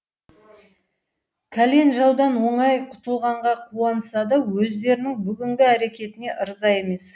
кәлен жаудан оңай құтылғанға қуанса да өздерінің бүгінгі әрекетіне ырза емес